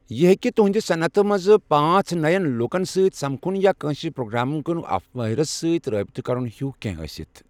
یہِ ہٮ۪کہِ تُہنٛدِ صنعتہِ منٛز پانژھ نٔیٚن لوٗکَن سۭتۍ سمکھُن یا کٲنٛسہِ پروگرامنگ مٲہرَس سۭتۍ رابطہٕ کرُن ہیوٗو کینٛہہ ٲسِتھ۔